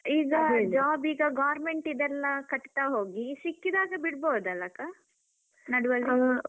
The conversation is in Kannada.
ಈಗ job ಈಗ government ದೆಲ್ಲಾ ಕಟ್ತಾಹೋಗಿ ಸಿಕ್ಕಿದಾಗ ಬಿಡ್ಬೋದಲ್ಲಾ ಅಕ್ಕ ನಡುವಲ್ಲಿ?